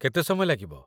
କେତେ ସମୟ ଲାଗିବ?